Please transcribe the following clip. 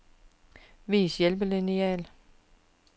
Vis hjælpelineal.